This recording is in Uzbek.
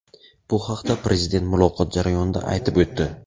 Bu haqda Prezident muloqot jarayonida aytib o‘tdi.